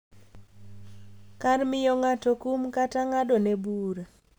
Kar miyo ng’ato kum kata ng’adone bura.